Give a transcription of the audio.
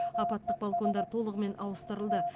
апаттық балкондар толығымен ауыстырылды